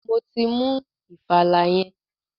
Mo ti mú ìfàlà yẹn.